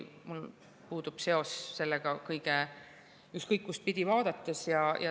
Mul puudub seos sellega ükskõik, mis pidi vaadata.